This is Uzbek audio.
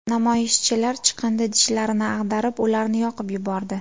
Namoyishchilar chiqindi idishlarini ag‘darib, ularni yoqib yubordi.